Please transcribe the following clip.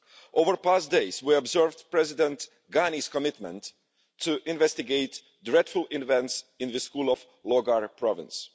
Over the past days, we observed President Ghani's commitment to investigate dreadful events in the schools of Logar province.